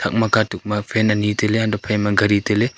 ama ka tok ma fan ani taile ga phai ma gari taile.